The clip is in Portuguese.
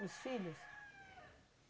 Os filhos.